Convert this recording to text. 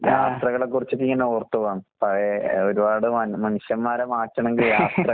ആഹ്.